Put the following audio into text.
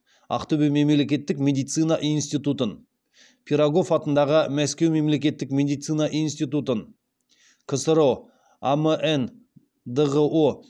ақтөбе мемлекеттік медицина институтын пирогов атындағы мәскеу мемлекеттік медицина институтын ксро амн дғо